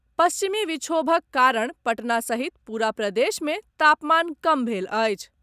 पश्चिमी विक्षोभक कारण पटना सहित पूरा प्रदेश में तापमान कम भेल अछि।